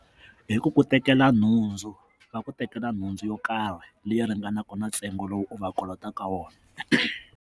Hi ku ku tekela nhundzu va ku tekela nhundzu yo karhi leyi ringanaka na ntsengo lowu u va kolotaka wona.